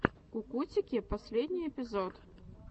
кукутики последний эпизод